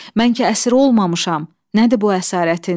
Mən ki əsir olmamışam, nədir bu əsarətin?